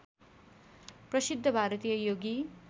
प्रसिद्ध भारतीय योगी